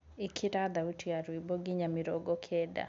ĩkĩra thaũtĩ ya rwĩmbo nginya mĩrongo kenda